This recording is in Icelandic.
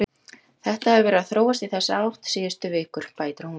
Þetta hefur verið að þróast í þessa átt síðustu vikur, bætir hún við.